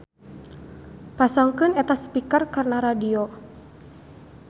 Pasangkeun eta speaker kana radio.